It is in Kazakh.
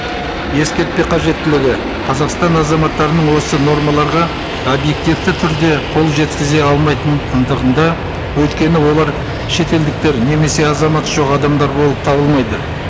ескертпе қажеттілігі қазақстан азаматтарының осы нормаларға объективті түрде қол жеткізе алмайтын өйткені олар шетелдіктер немесе азаматы жоқ адамдар болып табылмайды